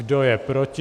Kdo je proti?